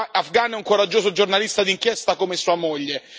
Afgan è un coraggioso giornalista d'inchiesta come sua moglie.